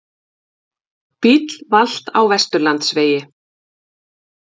Bíll valt á Vesturlandsvegi